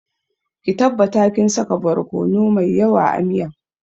Ki tabbata kin saka borkono mai yawa a miyan